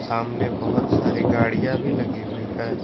सामने बहोत सारी गाड़ियां भी लगी हुई है।